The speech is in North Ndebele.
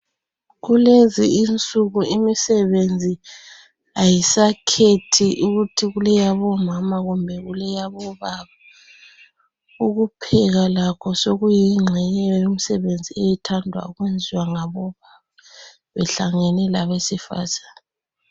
Kulezi insuku imisebenzi ayisakhethi ukuthi kuyelabo mama kumbe kuyelabo baba ukupheka lakho sokuyingxenye yomsebenzi ethandwa ukwenziwa ngabo baba behlangene labesifazana.